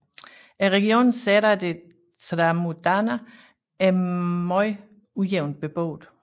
Regionen Serra de Tramuntana er meget ujævnt beboet